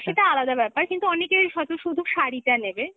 সেটা আলাদা ব্যাপার, কিন্তু অনেকে হয়ত শুধু শাড়িটা নেবে